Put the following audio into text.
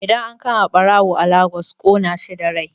Idan an kama ɓarawo a Lagos ƙona shi da rai